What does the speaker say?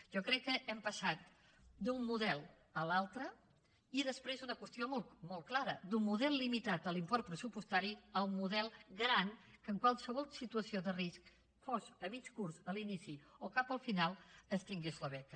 jo crec que hem passat d’un model a l’altre i després una qüestió molt clara d’un model limitat a l’import pressupostari a un model gran en què en qualsevol situació de risc sigui a mig curs a l’inici o cap al final es tingui la beca